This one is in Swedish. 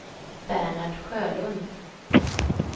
Bernhard Sjölund